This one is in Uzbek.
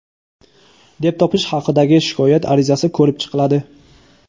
deb topish hakidagi shikoyat arizasi ko‘rib chiqiladi.